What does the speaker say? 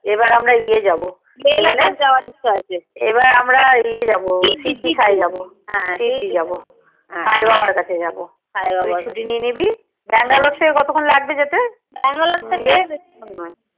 এবার আমরা ইয়ে যাবো ইয়ে যাবো সিদ্দি যাবো সায় বাবার কাছে যাবো তুই ছুটিও নিয়ে নিবি bangalore থেকে কতক্ষন লাগবে যেতে